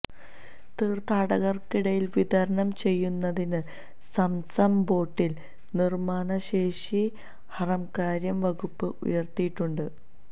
തീർഥാടകർക്കിടയിൽ വിതരണം ചെയ്യുന്നതിന് Zamzam bottle നിർമാണ ശേഷി ഹറംകാര്യ വകുപ്പ് ഉയർത്തിയിട്ടുണ്ട്